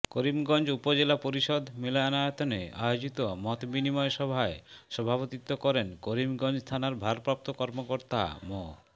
করিমগঞ্জ উপজেলা পরিষদ মিলনায়তনে আয়োজিত মতবিনিময় সভায় সভাপতিত্ব করেন করিমগঞ্জ থানার ভারপ্রাপ্ত কর্মকর্তা মো